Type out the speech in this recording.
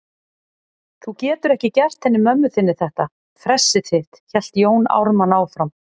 Þú getur ekki gert henni mömmu þinni þetta fressið þitt, hélt Jón Ármann áfram.